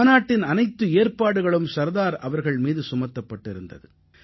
மாநாட்டின் அனைத்து ஏற்பாடுகளும் சர்தார் அவர்கள் மீது சுமத்தப்பட்டிருந்தது